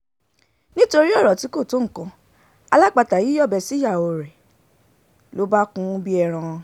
nítorí ọ̀rọ̀ tí kò tó nǹkan alápatà yìí yọ̀bẹ síyàwó ẹ̀ ló bá kún un bíi ẹran